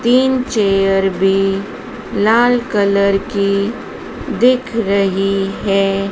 तीन चेयर भी लाल कलर की दिख रही है।